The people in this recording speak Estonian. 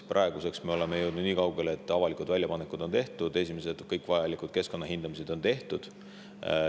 Praeguseks oleme jõudnud nii kaugele, et avalikud väljapanekud on tehtud, esimesed kõik vajalikud keskkonnahindamised on tehtud.